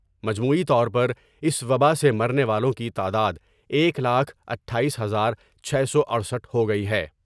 مجموعی طور پر اس وباء سے مرنے والوں کی تعداد ایک لاکھ اٹھآیس ہزار چھ سو اٹھسٹھ ہوگئی ہے ۔